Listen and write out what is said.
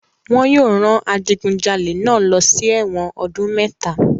Wọn yóò rán adigunjalè náà lọ sí ẹ̀wọ̀n ọdún mẹ́ta.